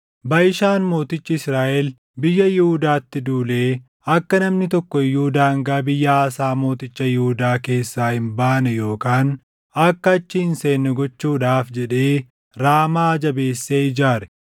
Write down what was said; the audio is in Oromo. Baʼishaan mootichi Israaʼel biyya Yihuudaatti duulee akka namni tokko iyyuu daangaa biyya Aasaa mooticha Yihuudaa keessaa hin baane yookaan akka achi hin seenne gochuudhaaf jedhee Raamaa jabeessee ijaare.